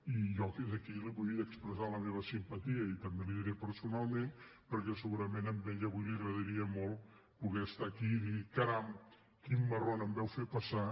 i jo des d’aquí li volia expressar la meva simpatia i també li ho diré personalment perquè segurament a ella avui li agradaria molt poder estar aquí i dir caram quin marron em vau fer passar